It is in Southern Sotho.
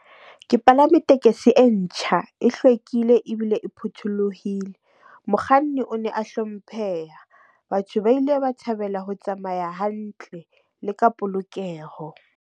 Ke palame tekesi e ntjha, e hlwekile ebile e phuthulohile. Mokganni o ne a hlompheha. Batho ba ile ba thabela ho tsamaya hantle le ka polokeho.